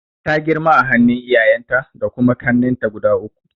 Ta girma a hannun iyayenta da kuma kannenta guda uku.